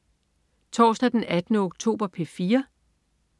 Torsdag den 18. oktober - P4: